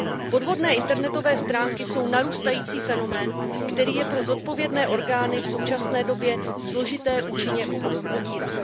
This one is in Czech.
Podvodné internetové stránky jsou narůstající fenomén, který je pro zodpovědné orgány v současné době složité účinně potírat.